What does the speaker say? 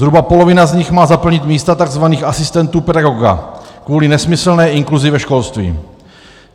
Zhruba polovina z nich má zaplnit místa takzvaných asistentů pedagoga kvůli nesmyslné inkluzi ve školství.